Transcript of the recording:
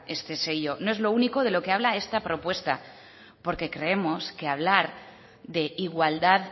este sello no es lo único de lo que habla esta propuesta porque creemos que hablar de igualdad